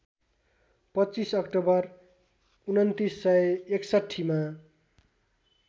२५ October २९६१ मा